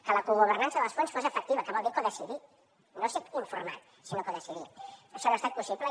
que la cogovernança dels fons fos efectiva que vol dir codecidir no ser informat sinó decidir això no ha estat possible